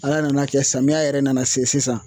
Ala nana kɛ samiya yɛrɛ nana se sisan